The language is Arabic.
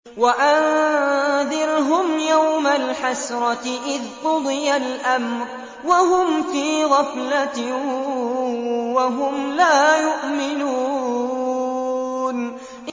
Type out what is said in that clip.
وَأَنذِرْهُمْ يَوْمَ الْحَسْرَةِ إِذْ قُضِيَ الْأَمْرُ وَهُمْ فِي غَفْلَةٍ وَهُمْ لَا يُؤْمِنُونَ